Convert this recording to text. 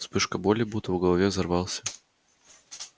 вспышка боли будто в голове взорвался